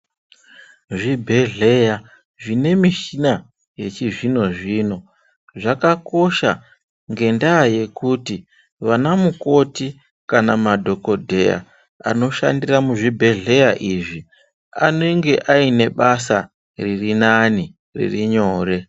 Zvibhedhleya zvinemishina yechizvino zvino zvakakosha ngendaya yekuti vanamukoti kana madhokodheya anoshandira muzvibhedhleya izvi anenge aine basa ririnani ririnyore.